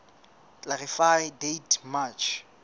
clarify date march